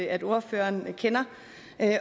at ordføreren kender